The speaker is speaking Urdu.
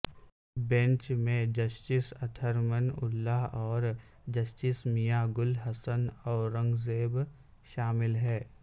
بینچ میں جسٹس اطہر من اللہ اور جسٹس میاں گل حسن اورنگزیب شامل ہیں